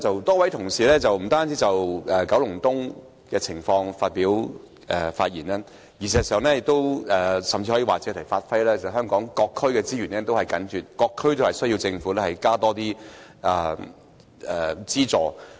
多位同事不單就九龍東的情況發言，事實上，甚至可說是借題發揮，指出香港各區資源緊絀的問題，各區也需要政府增撥資源。